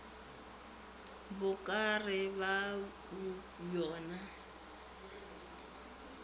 bo ka re ka bobjona